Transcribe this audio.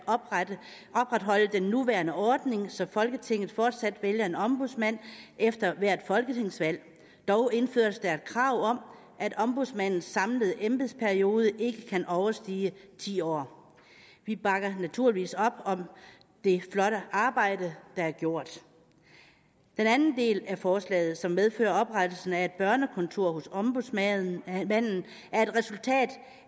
opretholde den nuværende ordning så folketinget fortsat vælger en ombudsmand efter hvert folketingsvalg dog indføres der et krav om at ombudsmandens samlede embedsperiode ikke kan overstige ti år vi bakker naturligvis op om det flotte arbejde der er gjort den anden del af forslaget som medfører oprettelsen af et børnekontor hos ombudsmanden er et resultat